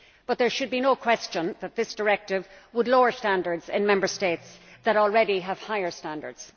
But there should be no question that this directive would lower standards in Member States that already have higher standards.